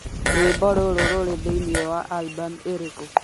rwĩmbo rũrũ rũrĩ thĩinĩ wa album ĩrĩkũ